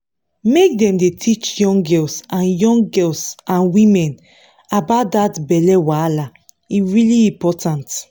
make dem dey teach young girls and young girls and women about that belly wahala e really important